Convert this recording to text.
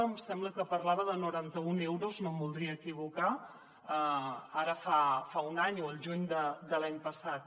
em sembla que parlava de noranta un euros no em voldria equivocar ara fa un any o al juny de l’any passat